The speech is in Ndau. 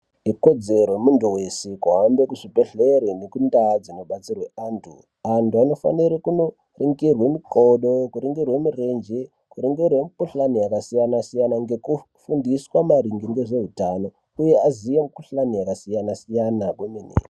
Ikodzero yemuntu weshe kuhambe kuzvibhedhlere nekundau dzinobatsirwe antu. Antu anofanirwe kunoringirwe mikodo kuringirwe mirenje, kuringirwe mikhuhlani yakasiyana-siyana ngekufundiswe maringe ngezveutano, uye aziye mikhuhuhlane yakasiyana-siyana kwemene.